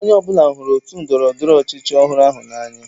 Onye ọ bụla hụrụ otu ndọrọ ndọrọ ọchịchị ọhụrụ ahụ n'anya.